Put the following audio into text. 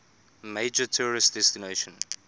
major tourist destination